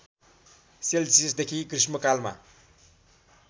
सेल्सियसदेखि गृष्मकालमा